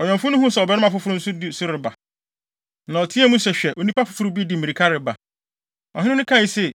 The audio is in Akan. ɔwɛmfo no huu sɛ ɔbarima foforo nso di so reba, na ɔteɛɛ mu se, “Hwɛ onipa foforo bi de mmirika reba!” Ɔhene no kae se,